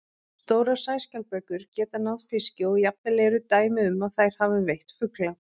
Stórar sæskjaldbökur geta náð fiski og jafnvel eru dæmi um að þær hafi veitt fugla.